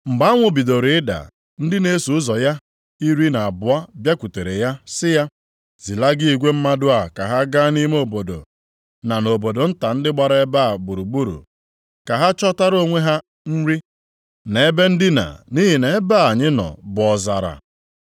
Mgbe anwụ bidoro ịda, ndị na-eso ụzọ ya iri na abụọ bịakwutere ya sị ya, “Zilaga igwe mmadụ a ka ha gaa nʼime obodo na nʼobodo nta ndị gbara ebe a gburugburu, ka ha chọtara onwe ha nri na ebe ndina nʼihi na ebe a anyị nọ bụ ọzara.”